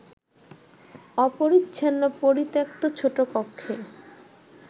অপরিচ্ছন্ন পরিত্যক্ত ছোট কক্ষে